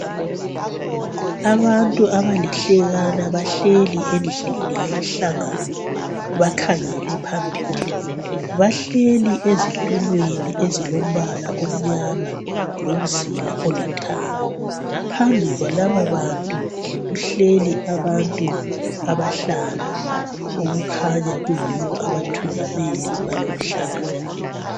abantu abalihlekana bahleli endlini yomhlangano bakhangele phambili bahleli ezitulweni ezilombala omnyama lomzila olithanga phambi kwalaba bantu kuhleli abantu abahlanu okukhanya kuyibo abathungameli baloluhlelo